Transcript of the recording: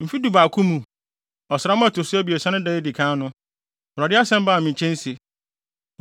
Mfe dubaako mu, ɔsram a ɛto so abiɛsa no da a edi kan no, Awurade asɛm baa me nkyɛn se,